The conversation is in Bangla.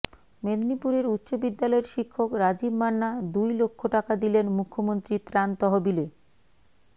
মেদিনীপুরের উচ্চ বিদ্যালয়ের শিক্ষক রাজীব মান্না দুই লক্ষ টাকা দিলেন মুখ্যমন্ত্রীর ত্রাণ তহবিলে